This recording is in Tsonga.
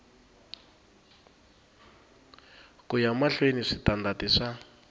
ku ya mahlweni switandati swa